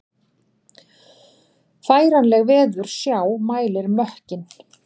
Færanleg veðursjá mælir mökkinn